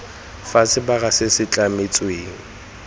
fa sebaka se se tlametsweng